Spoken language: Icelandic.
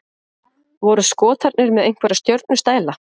Voru Skotarnir með einhverja stjörnustæla?